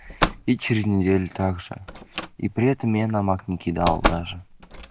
и через неделю также и при этом я на мак не кидал даже